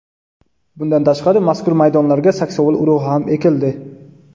Bundan tashqari, mazkur maydonlarga saksovul urug‘i ham ekildi.